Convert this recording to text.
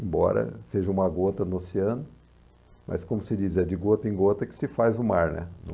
Embora seja uma gota no oceano, mas como se diz, é de gota em gota que se faz o mar, né, num